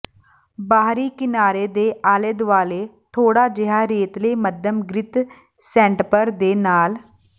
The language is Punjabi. ਬਾਹਰੀ ਕਿਨਾਰੇ ਦੇ ਆਲੇ ਦੁਆਲੇ ਥੋੜਾ ਜਿਹਾ ਰੇਤਲੇ ਮੱਧਮ ਗ੍ਰਿਤ ਸੈਂਟਪਰ ਦੇ ਨਾਲ